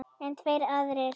En tveir aðrir